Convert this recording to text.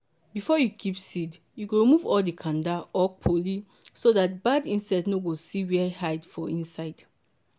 before you keep seed you go remove all the kanda or kpoli so dat bad insect nor go see where hide for inside.